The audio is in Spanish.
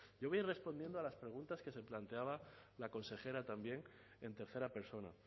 yo voy a ir respondiendo a las preguntas que se planteaba la consejera también en tercera persona